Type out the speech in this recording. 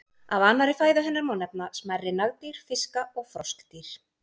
Af annarri fæðu hennar má nefna smærri nagdýr, fiska og froskdýr.